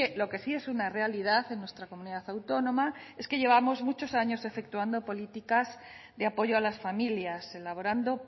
lo que sí es una realidad en nuestra comunidad autónoma es que llevamos muchos años efectuando políticas de apoyo a las familias elaborando